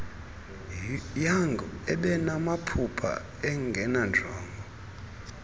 young ebenamaphupha enenjongo